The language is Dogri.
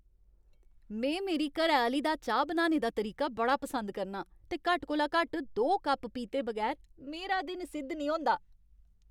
में मेरी घरैआह्‌ली दा चाह् बनाने दा तरीका बड़ा पसंद करना आं ते घट्ट कोला घट्ट दो कप पीते बगैर मेरा दिन सिद्ध नेईं होंदा।